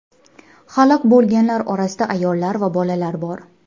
Halok bo‘lganlar orasida ayollar va bolalar bor.